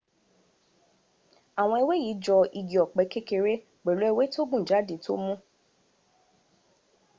àwọn ewé yí jọ igi ọ̀pẹ́ kékeré pẹ̀lú ewé tó gùn jáde tó mú